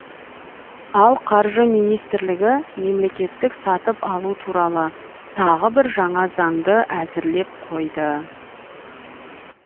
ал қаржы министрлігі мемлекеттік сатып алу туралы тағы бір жаңа заңды әзірлеп қойды